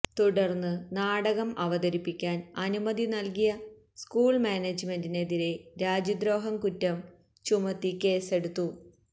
തുടർന്ന് നാടകം അവതരിപ്പിക്കാൻ അനുമതി നൽകിയ സ്കൂൾ മാനേജ്മെന്റിനെതിരേ രാജ്യദ്രോഹക്കുറ്റം ചുമത്തി കേസെടുത്തു